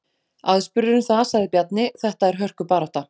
Aðspurður um það sagði Bjarni: Þetta er hörku barátta.